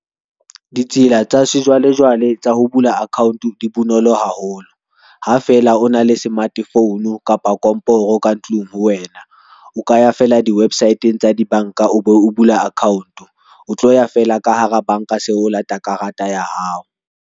Ditsela tsa sejwalejwale tsa ho bula account di bonolo haholo. Ha fela o na le smartphone kapa komporo ka tlung ho wena. O ka ya fela di-website-ng tsa di banka, o bo bula account o tlo ya fela ka hara banka seo o lata karata ya hao.